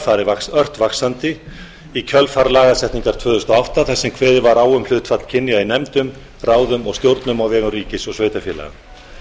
farið ört vaxandi í kjölfar lagasetningar tvö þúsund og átta þar sem kveðið var á um hlutfall kynja í nefndum ráðum og stjórnum á vegum ríkis og sveitarfélaga